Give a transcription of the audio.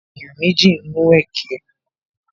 Àwọn ènìyàn méjì ń mu ẹkẹ